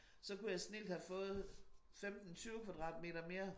Så kunne jeg snildt have fået 15 20 kvadratmeter mere